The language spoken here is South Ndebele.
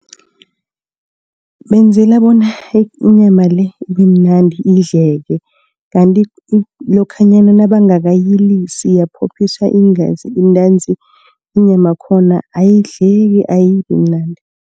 Benzela bona inyama le ibemnandi idleke. Kanti lokhanyana nabangakayilisi yaphophiswa iingazi ntanzi inyama yakhona ayidleki ayibimnandi.